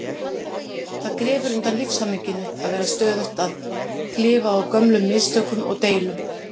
Það grefur undan lífshamingjunni að vera stöðugt að klifa á gömlum mistökum og deilum.